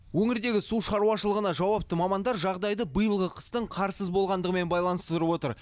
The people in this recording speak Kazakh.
өңірдегі су шаруашылығына жауапты мамандар жағдайды биылғы қыстың қарсыз болғандығымен байланыстырып отыр